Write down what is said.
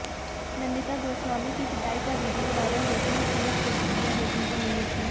नंदिता गोस्वामी की पिटाई का वीडियो वायरल होते ही तीव्र प्रतिक्रिया देखने को मिली थी